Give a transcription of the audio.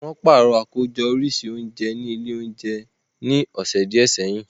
Wọ́n pàrọ̀ àkójọ oríṣi oúnjẹ ní ilé oúnjẹ ní ọ̀sẹ̀ díẹ̀ sẹ́yìn